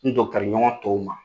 N ɲɔgɔn tɔw ma.